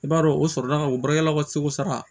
I b'a dɔn o sɔrɔla ka o baarakɛlaw ka segu sara